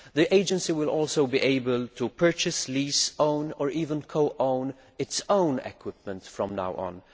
The Agency will also be able to purchase, lease, own or even co own its own equipment from now on.